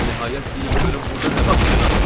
Nəhayət deyin görüm burda nə baş verir axı?